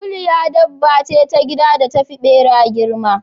Kuliya dabba ce ta gida da tafi ɓera girma.